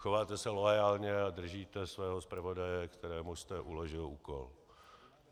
Chováte se loajálně a držíte svého zpravodaje, kterému jste uložil úkol.